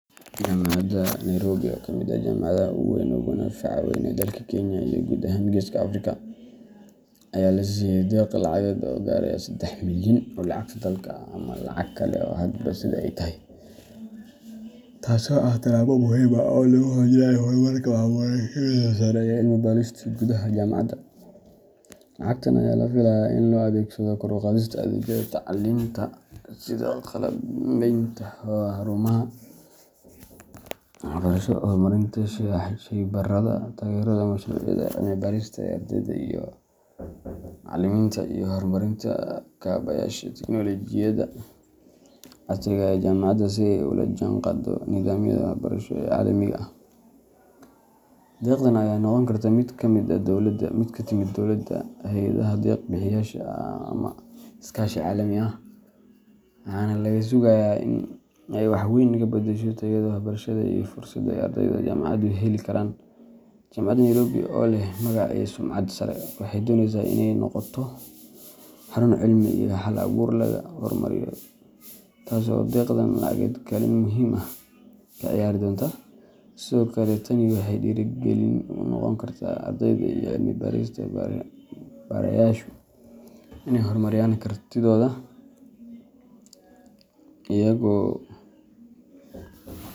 Jamacaada nairobi oo kamiid jamacadhaha ogu wawen oo madhafacaad dalka kenya iyo gud ahan africa aya lasasiye deq lacageed oo gareysa sadax milyan oo lacagta dalka ama sitha ee tahay, taso ah tilabo muhiim ah oo lagu hojinayo marka ee wax barashaada gudaha jamacaada lacagta aya lafilaya in lo adhegsadho kor uqadhista sitha qab liminta, wax barasho cilmi barista iyo caliminta iyo hor marinta kabayadha tecnolojiyaad casiga ee jamacaada si ee ola jihan qado nidhamyaada wax barashaada deqdan aya noqon kartaa miid kamiid ah dowlaada hayadhaha deq bixiyasha ama iskashi calami ah waxana laga sugaya in ee wax weyn kabadasho tayaada wax barashaada iyo dursaada ee helayan ardeyda jamacaded jamacaad nairobi oo leh sumcaad iyo sharaf waxee doneysa in ee noqoto hal abur la hor mariyo tas oo deqda lacageed ka ciyari dona tani waxee dira galin unoqoni kartaa in ee hor mariyan kartidhoda iyago.